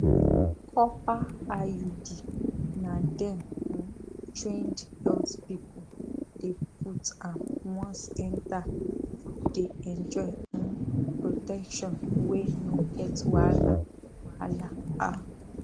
copper iud na dem um trained health people dey put am once enter you dey enjoy um protection wey no get wahala wahala ah